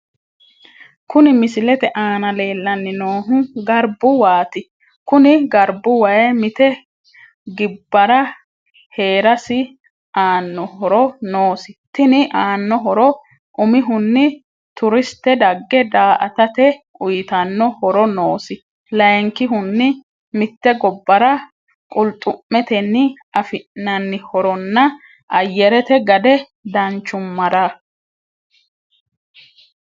Kuni misilete aana leelani noohu garibu waati Kuni garibu wayi mite gibarra heerasi aano horro noosi tini aano horro umihuni turisite dage da'atate uyitano horro noosi, layikihuni mite gobbarra quluxumeteni afinanni horronnà ayyerete gadde danchumarra